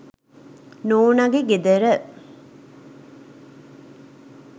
නෝනගෙ ගෙදර.